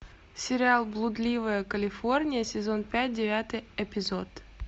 сериал блудливая калифорния сезон пять девятый эпизод